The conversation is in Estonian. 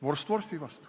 Vorst vorsti vastu.